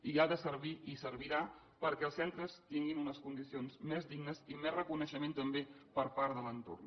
i ha de servir i servirà perquè els centres tinguin unes condicions més dignes i més reconeixement també per part de l’entorn